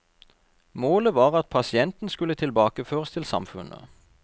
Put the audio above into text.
Målet var at pasienten skulle tilbakeføres til samfunnet.